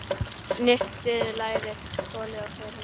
Snyrtið lærið, skolið og þerrið.